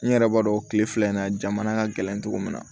N yɛrɛ b'a dɔn kile fila in na jamana ka gɛlɛn cogo min na